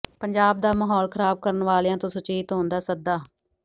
ਪੰਜਾਬ ਦਾ ਮਾਹੌਲ ਖ਼ਰਾਬ ਕਰਨ ਵਾਲਿਆਂ ਤੋਂ ਸੁਚੇਤ ਹੋਣ ਦਾ ਸੱਦਾ